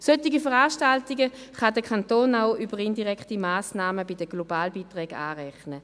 Solche Veranstaltungen kann der Kanton auch über indirekte Massnahmen bei den Globalbeiträgen anrechnen.